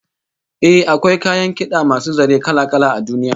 Eh, akwai kayan kid'a masu zare kala-kala a duniya